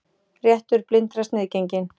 Réttur blindra sniðgenginn